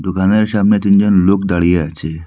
দোকানের সামনে তিনজন লোক দাঁড়িয়ে আছে।